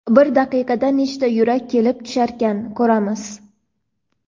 bir daqiqada nechta yurak kelib tusharkan, ko‘ramiz.